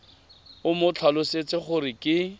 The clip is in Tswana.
o mo tlhalosetse gore ke